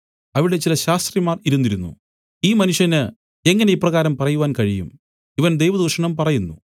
അവിടെ ചില ശാസ്ത്രിമാർ ഇരുന്നിരുന്നു ഈ മനുഷ്യന് എങ്ങനെ ഇപ്രകാരം പറയുവാൻ കഴിയും ഇവൻ ദൈവദൂഷണം പറയുന്നു